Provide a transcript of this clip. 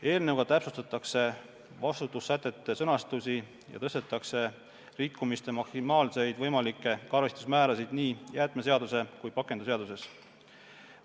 Eelnõuga täpsustatakse vastutussätete sõnastusi ja tõstetakse liikumiste maksimaalseid võimalikke arvestusmäärasid nii jäätmeseaduses kui pakendiseaduses.